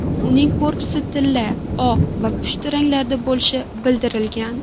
Uning korpusi tilla, oq va pushti ranglarda bo‘lishi bildirilgan.